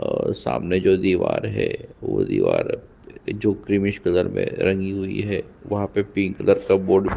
और सामने जो दीवार है वो दीवार है जो क्रिमिस कलर में लगी हुई है वहाँ पे पिंक कलर का बोर्ड भी है।